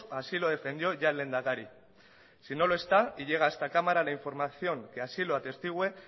así lo defendió ya el lehendakari si no lo está y llega a esta cámara la información que así lo atestigüe